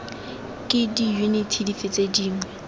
ke diyuniti dife tse dingwe